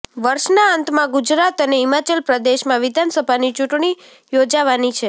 વર્ષના અંતમાં ગુજરાત અને હિમાચલ પ્રદેશમાં વિધાનસભાની ચૂંટણી યોજાવાની છે